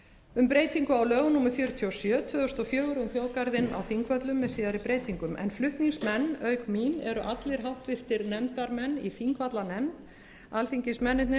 um breytingu á lögum númer fjörutíu og sjö tvö þúsund og fjögur um þjóðgarðinn á þingvöllum með síðari breytingum flutningsmenn auk mín eru allir háttvirtir nefndarmenn í þingvallanefnd alþingismennirnir